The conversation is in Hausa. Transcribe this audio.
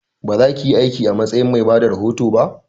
Ba zakiyi aiki a matsayin mai bada rahoto ba!